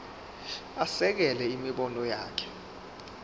asekele imibono yakhe